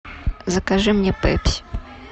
закажи мне пепси